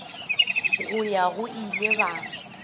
go ya go ile ba